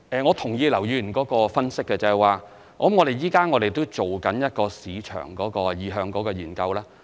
我同意劉議員的分析，因此我們現正進行一項市場意向的研究。